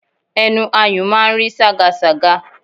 Ẹnu ayùn máa ń rí ságasàga